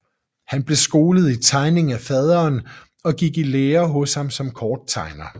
Han blev skolet i tegning af faderen og gik i lære hos ham som korttegner